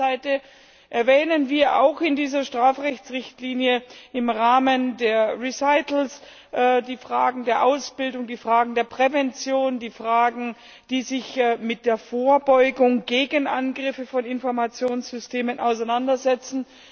Auf der einen Seite erwähnen wir in dieser Strafrechtsrichtlinie im Rahmen der Erwägungen auch die Fragen der Ausbildung, der Prävention, die Fragen, die sich mit der Vorbeugung gegen Angriffe auf Informationssysteme auseinandersetzen.